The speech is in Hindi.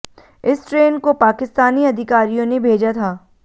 इस ट्रेन को पाकिस्तानी अधिकारियों ने भेजा था